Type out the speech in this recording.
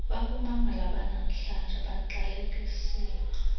bakumamele abanamhlanje baqalekisiwe